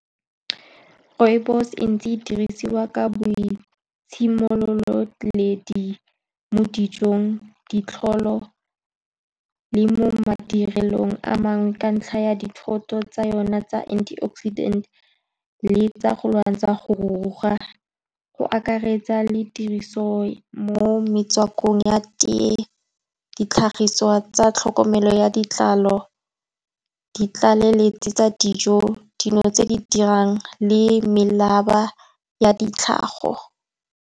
Rooibos-e e ntse e dirisiwa ka boitshemololedi mo dijong, ditlholo le mo madirelong a mangwe, ka ntlha ya dithoto tsa yone tsa antioxidant le tsa go lwantsha go ruruga. Go akaretsa le tiriso mo metswakong ya tea, ditlhagiswa tsa tlhokomelo ya ditlalo, ditlaleletsi tsa dijo, dingwe tse di dirang le ya ditlhago.